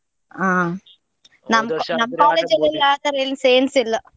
ಹಾ ನಮ್ ಆತರ ಏನ್ಸ ಏನ್ಸ ಇಲ್ಲ.